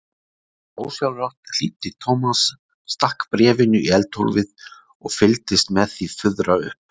Ósjálfrátt hlýddi Thomas, stakk bréfinu í eldhólfið og fylgdist með því fuðra upp.